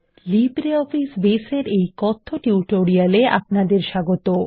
LibreOffice Base এর এই কথ্য টিউটোরিয়ালে আপনাদের স্বাগত